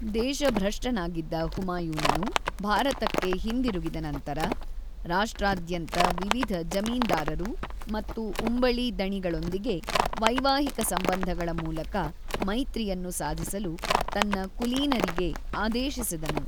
ದೇಶಭ್ರಷ್ಟನಾಗಿದ್ದ ಹುಮಾಯೂನನು ಭಾರತಕ್ಕೆ ಹಿಂದಿರುಗಿದ ನಂತರ, ರಾಷ್ಟ್ರಾದ್ಯಂತ ವಿವಿಧ ಜಮೀನ್ದಾರರು ಮತ್ತು ಉಂಬಳಿ ದಣಿಗಳೊಂದಿಗೆ ವೈವಾಹಿಕ ಸಂಬಂಧಗಳ ಮೂಲಕ ಮೈತ್ರಿಯನ್ನು ಸಾಧಿಸಲು ತನ್ನ ಕುಲೀನರಿಗೆ ಆದೇಶಿಸಿದನು.